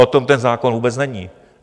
O tom ten zákon vůbec není.